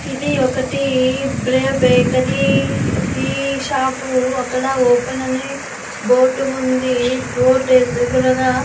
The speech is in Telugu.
ఇది ఒకటి బ్రేవ్ బేకరీ టీ షాపు . అక్కడ ఓపెన్ అని బోర్డు ఉంది బోర్డు ఎద్రుగుడగ --